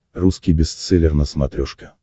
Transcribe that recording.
русский бестселлер на смотрешке